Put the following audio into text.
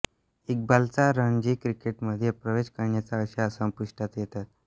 इक्बालचा रणजी क्रिकेटमध्ये प्रवेश करण्याच्या आशा संपुष्टात येतात